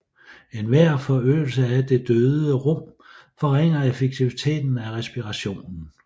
Enhver forøgelse af det døde rum forringer effektiviteten af respirationen